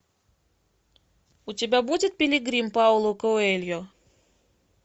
у тебя будет пилигрим пауло коэльо